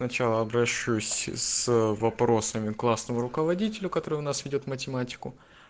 сначала обращусь с вопросами к классному руководителю который у нас ведёт математику